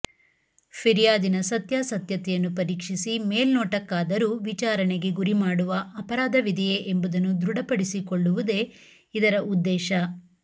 ಫಿರ್ಯಾದಿನ ಸತ್ಯಾಸತ್ಯತೆಯನ್ನು ಪರೀಕ್ಷಿಸಿ ಮೇಲ್ನೋಟಕ್ಕಾದರೂ ವಿಚಾರಣೆಗೆ ಗುರಿ ಮಾಡುವ ಅಪರಾಧವಿದೆಯೇ ಎಂಬುದನ್ನು ದೃಡಪಡಿಸಿಕೊಳ್ಳುವುದೇ ಇದರ ಉದ್ದೇಶ